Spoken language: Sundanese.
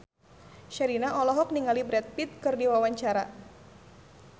Sherina olohok ningali Brad Pitt keur diwawancara